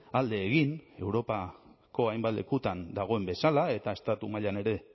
alde egin europako hainbat lekutan dagoen bezala eta estatu mailan ere